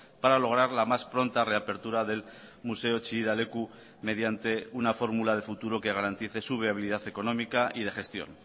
para lograr la más pronta reapertura del museo chillida leku mediante una fórmula de futuro que garantice su viabilidad económica y de gestión